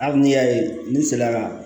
Hali n'i y'a ye ne sera ka